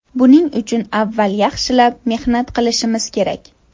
Buning uchun avval yaxshilab mehnat qilishimiz kerak.